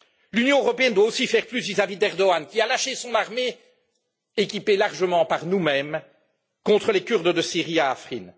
L'Union européenne doit aussi faire plus vis à vis d'Erdoğan qui a lâché son armée, équipée largement par nous mêmes, contre les Kurdes de Syrie à Afrin.